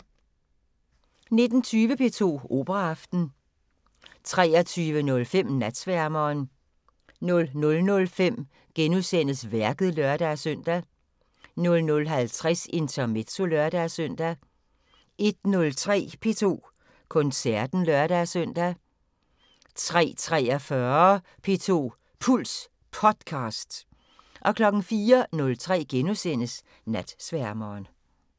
19:20: P2 Operaaften 23:05: Natsværmeren 00:05: Værket *(lør-søn) 00:50: Intermezzo (lør-søn) 01:03: P2 Koncerten (lør-søn) 03:43: P2 Puls Podcast 04:03: Natsværmeren *